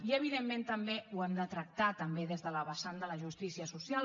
i evidentment també ho hem de tractar des de la vessant de la justícia social